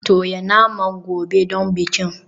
Toya naman gobe don bikin.